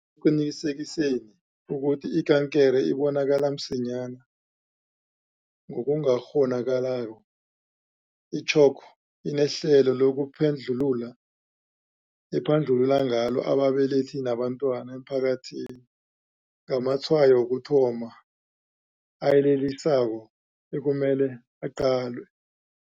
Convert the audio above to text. ekuqinisekiseni ukuthi ikankere ibonakala msinyana ngokungakgho nakalako, i-CHOC inehlelo lokuphandlulula ephandlulula ngalo ababelethi nabantwana emphakathini ngamatshayo wokuthoma ayelelisako ekumele aqalwe.